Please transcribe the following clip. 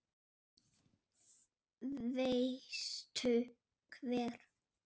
Veistu hver